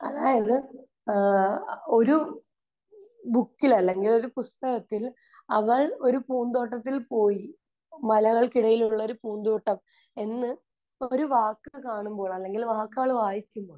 അതായത്, ഏഹ് ഒരു ബുക്കിൽ അല്ലെങ്കിൽ ഒരു പുസ്തകത്തിൽ അവൾ ഒരു പൂന്തോട്ടത്തിൽ പോയി. മലകൾക്കിടയിലുള്ള ഒരു പൂന്തോട്ടം എന്ന് ഒരു വാക്ക് കാണുമ്പോൾ അല്ലെങ്കിൽ വാക്ക് അവൾ വായിക്കുമ്പോൾ